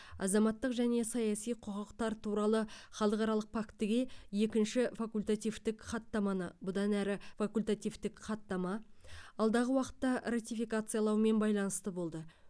азаматтық және саяси құқықтар туралы халықаралық фактіге екінші факультативтік хаттаманы бұдан әрі факультативтік хаттама алдағы уақытта ратификациялауымен байланысты болды